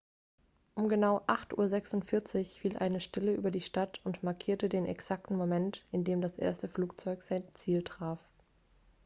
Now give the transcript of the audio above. um genau 8:46 uhr fiel eine stille über die stadt und markierte den exakten moment in dem das erste flugzeug sein ziel traf